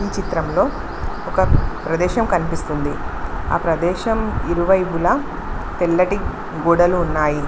ఈ చిత్రంలో ఒక ప్రదేశం కనిపిస్తుంది ఆ ప్రదేశం ఇరువైపుల తెల్లటి గోడలు ఉన్నాయి.